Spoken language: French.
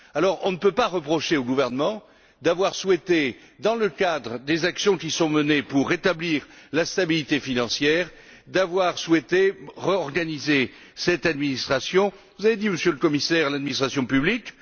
Alors, on ne peut pas reprocher au gouvernement d'avoir souhaité, dans le cadre des actions qui sont menées pour rétablir la stabilité financière, réorganiser cette administration vous avez parlé, Monsieur le Commissaire, d'administration publique.